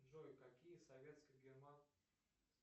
джой какие советско